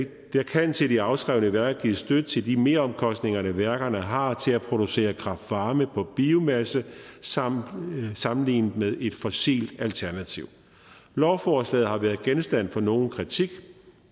kan til de afskrevne værker gives støtte til de meromkostninger værkerne har til at producere kraftvarme på biomasse sammenlignet sammenlignet med et fossilt alternativ lovforslaget har været genstand for nogen kritik